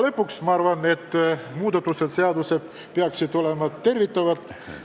Lõpuks ma arvan, et seaduses tehtavad muudatused peaksid olema tervitatavad.